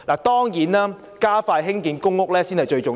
當然，加快興建公屋才最重要。